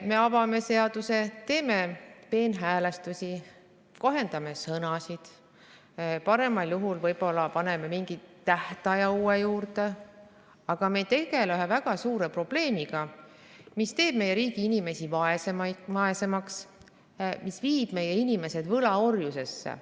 Me avame seaduse, teeme peenhäälestusi, kohendame sõnastust ja paremal juhul paneme mingi uue tähtaja juurde, aga me ei tegele ühe väga suure probleemiga, mis teeb meie riigi inimesi vaesemaks ja viib neid võlaorjusesse.